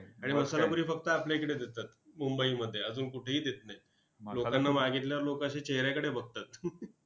आणि मसाला पुरी फक्त आपल्या इकडे देतात मुंबईमध्ये, अजून कुठेही देत नाहीत. लोकांना मागितल्यावर लोकं असे चेहऱ्याकडे बघतात.